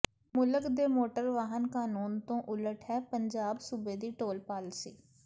ਮੁਲਕ ਦੇ ਮੋਟਰ ਵਾਹਨ ਕਾਨੂੰਨ ਤੋਂ ਉਲਟ ਹੈ ਪੰਜਾਬ ਸੂਬੇ ਦੀ ਟੋਲ ਪਾਲਿਸੀ